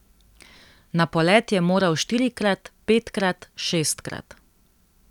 Na polet je moral štirikrat, petkrat, šestkrat.